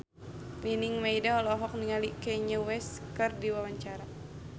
Nining Meida olohok ningali Kanye West keur diwawancara